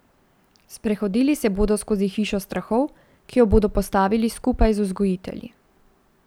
Sprehodili se bodo skozi hišo strahov, ki jo bodo postavili skupaj z vzgojitelji.